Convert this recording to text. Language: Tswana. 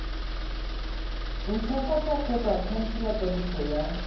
ntshwafatsa kgotsa khansela kwadiso ya